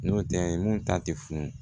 N'o tɛ mun ta tɛ funu